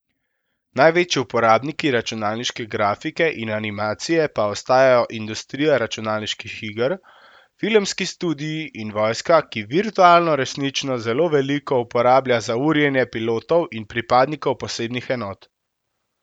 Največji uporabniki računalniške grafike in animacije pa ostajajo industrija računalniških iger, filmski studii in vojska, ki virtualno resničnost zelo veliko uporablja za urjenje pilotov in pripadnikov posebnih enot.